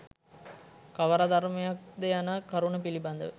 කවර ධර්මයක් ද යන කරුණ පිළිබඳව